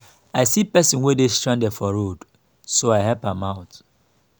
i see person wey dey stranded for road so i help am out